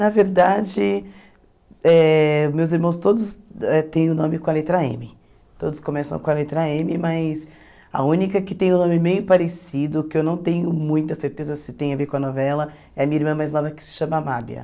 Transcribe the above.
Na verdade, eh meus irmãos todos têm o nome com a letra eme. Todos começam com a letra eme, mas a única que tem o nome meio parecido, que eu não tenho muita certeza se tem a ver com a novela, é a minha irmã mais nova, que se chama Mábia.